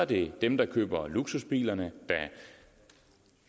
det er dem der køber luksusbilerne der